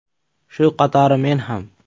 Shu qatori meni ham.